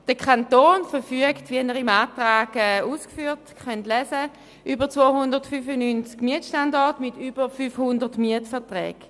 Wie im Antrag ausgeführt, verfügt der Kanton über 295 Mietstandorte mit über 500 Mietverträgen.